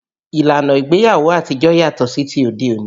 Ìlànà ìgbéyàwó àtijó yàtọ̀ sí ti òde òní